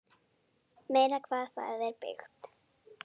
Meira hvað það er byggt!